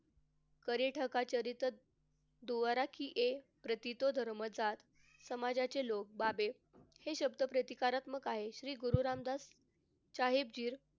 परी ठका चरित प्रतितो धर्मसा. समाजचे लोक बाबे हे शब्द प्रतिकारात्मक आहेत. श्री गुरु रामदास साहिबजी,